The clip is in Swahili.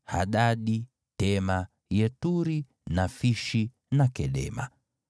Hadadi, Tema, Yeturi, Nafishi na Kedema.